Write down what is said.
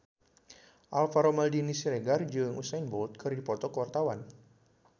Alvaro Maldini Siregar jeung Usain Bolt keur dipoto ku wartawan